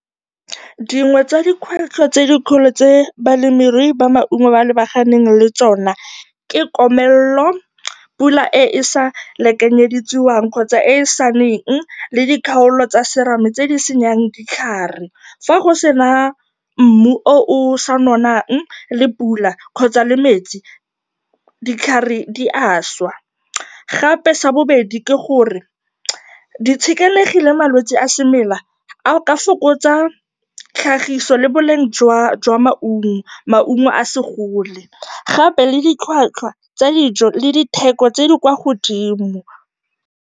Dingwe tsa dikgwetlho tse dikgolo tse balemirui ba maungo ba lebaganeng le tsona ke komelelo, pula e e sa lekanyediwang kgotsa e e sa neng le dikgaolo tsa serame tse di senyang ditlhare. Fa go sena mmu o o sa nonang, le pula kgotsa le metsi, ditlhare di a swa. Gape sa bobedi ke gore ditshenekegi le malwetse a semela a ka fokotsa tlhagiso le boleng jwa maungo, maungo a se gole, gape le ditlhwatlhwa tsa dijo le ditheko tse di kwa godimo.